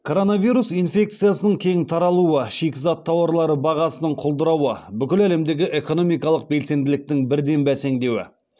коронавирус инфекциясының кең таралуы шикізат тауарлары бағасының құлдырауы бүкіл әлемдегі экономикалық белсенділіктің бірден бәсеңдеуі